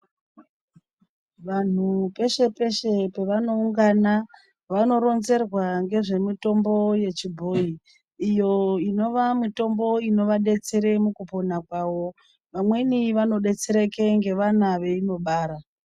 Vanhu peshe peshe pevanoungana, vanoronzerwa ngezvemitombo yechibhoyi, iyo inova mitombo inovadetsera pakupona kwavo. Vamweni vanodetsereka ngevana veinobara.